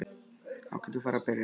Þá getum við farið að byrja.